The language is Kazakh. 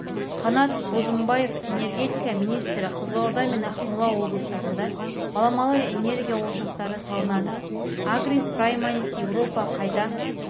қанат бозымбаев энергетика министрі қызылорда мен ақмола облыстарында баламалы энергия ошақтары салынады агрис прейманис еуропа қайта